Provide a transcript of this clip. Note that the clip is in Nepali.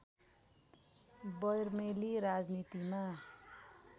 बर्मेली राजनीतिमा